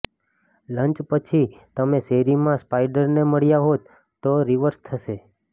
lunch પછી તમે શેરીમાં સ્પાઈડરને મળ્યા હોત તો રિવર્સ થશે